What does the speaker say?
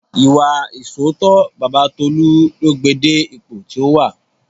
Ìwà ìṣóòótọ́ Baba Tolu ló gbé e dé ipò tí ó wà